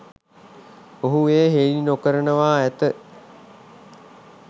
ඔහු එය හෙළි නොකරනවා ඇති.